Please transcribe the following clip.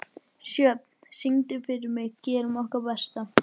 Sjöfn, syngdu fyrir mig „Gerum okkar besta“.